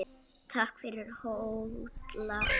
Takk fyrir, Holla.